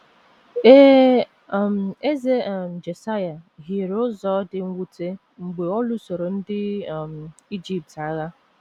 Ee, um Eze um Josaịa hiere ụzọ dị mwute mgbe ọ lụsoro ndị um Ijipt agha.